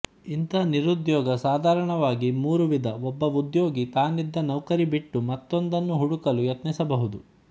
ಇಂಥ ನಿರುದ್ಯೋಗ ಸಾಧಾರಣವಾಗಿ ಮೂರು ವಿಧ ಒಬ್ಬ ಉದ್ಯೋಗಿ ತಾನಿದ್ದ ನೌಕರಿ ಬಿಟ್ಟು ಮತ್ತೊಂದನ್ನು ಹುಡುಕಲು ಯತ್ನಿಸಬಹುದು